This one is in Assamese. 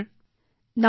হেল্লো